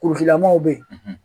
Kurukilamaw bɛ yen